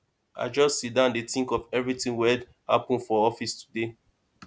i just siddon dey tink of everytin wey happen for office today